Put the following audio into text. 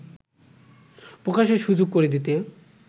প্রকাশের সুযোগ করে দিতে